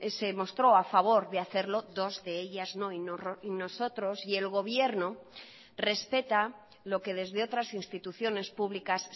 se mostró a favor de hacerlo dos de ellas no y nosotros y el gobierno respeta lo que desde otras instituciones públicas